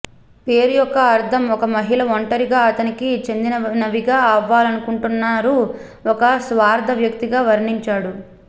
పేరు యొక్క అర్ధం ఒక మహిళ ఒంటరిగా అతనికి చెందినవిగా అవ్వాలనుకుంటున్నారు ఒక స్వార్థ వ్యక్తి గా వర్ణించాడు